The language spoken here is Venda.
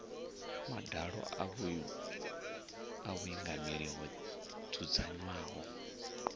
madalo a vhuingameli ho dzudzanywaho